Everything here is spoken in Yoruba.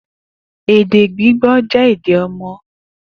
Ede gbigbo jẹ ede ọmọ.